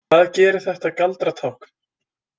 Hvað gerir þetta galdratákn?